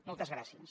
moltes gràcies